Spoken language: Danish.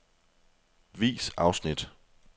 Vis afsnit.